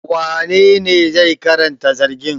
Wanene zai karanta zargin?